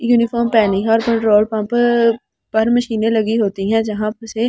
uniform पहनी है और पेट्रोल पंप पर मशीनें लगी होती हैं जहां से--